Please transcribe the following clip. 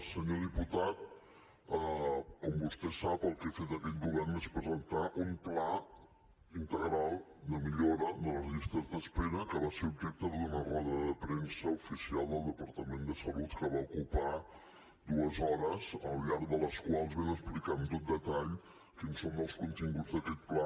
senyor diputat com vostè sap el que ha fet aquest govern és presentar un pla integral de millora de les llistes d’espera que va ser objecte d’una roda de premsa oficial del departament de salut que va ocupar dues hores al llarg de les quals vam explicar amb tot detall quins són els continguts d’aquest pla